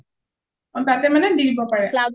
অ তাতে মানে দি দিব পাৰে